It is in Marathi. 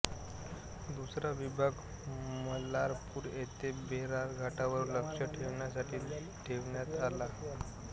दुसरा विभाग मलारपूर येथे बेरार घाटावर लक्ष ठेवण्यासाठी ठेवण्यात आला